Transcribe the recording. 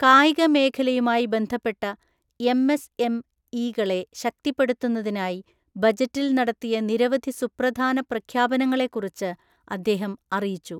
കായിക മേഖലയുമായി ബന്ധപ്പെട്ട എംഎസ്എംഇകളെ ശക്തിപ്പെടുത്തുന്നതിനായി ബജറ്റിൽ നടത്തിയ നിരവധി സുപ്രധാന പ്രഖ്യാപനങ്ങളെക്കുറിച്ച് അദ്ദേഹം അറിയിച്ചു.